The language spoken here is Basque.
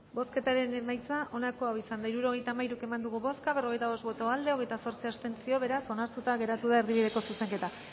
bozketaren emaitza onako izan da hirurogeita hamairu eman dugu bozka berrogeita bost boto aldekoa hogeita zortzi abstentzio beraz onartuta geratu da erdibideko zuzenketa